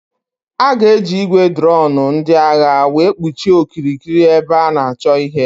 A ga-eji ị́gwè droonu ndị agha were kpuchie okirikiri ebe a na-achọ ihe.